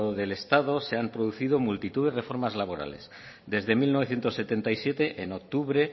del estado se ha introducido multitud de reformas laborales desde mil novecientos setenta y siete en octubre